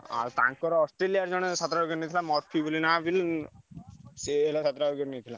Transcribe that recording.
ଆଉ ତାଙ୍କର ଅଷ୍ଟ୍ରେଲିଆରେ ଜଣେ ସାତ ଟା wicket ନେଇଥିଲା ମର୍ଫି ବୋଲି ନାଁ ବୁଝିଲ କି ସିଏ ହେଲା ସାତ ଟା wicket ନେଇଥିଲା।